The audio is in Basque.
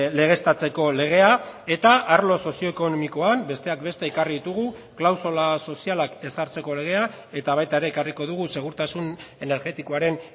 legeztatzeko legea eta arlo sozio ekonomikoan besteak beste ekarri ditugu klausula sozialak ezartzeko legea eta baita ere ekarriko dugu segurtasun energetikoaren